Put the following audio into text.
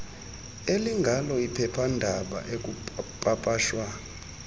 elingalo iphephandaba ekupapashwa